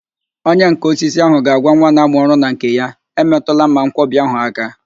Onyenká osisi ahụ ga-agwa nwa na-amụ ọrụ na nke ya, emetụla mmanwkọbi ahụ áká